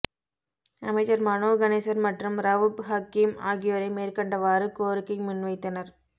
அமைச்சர் மனோ கணேசன் மற்றும் ரவூப் ஹக்கீம் ஆகியோரே மேற்கண்டவாறு கோரிக்கை முன்வைத்தனர்